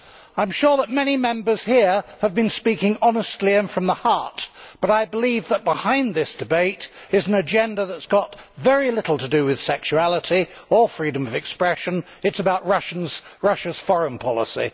I am sure that many Members here have been speaking honesty and from the heart, but I believe that behind this debate is an agenda that has got very little to do with sexuality or freedom of expression it is about Russia's foreign policy.